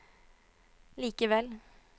likevel